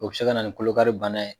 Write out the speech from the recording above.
O bɛ se kana nin kolokari bana ye.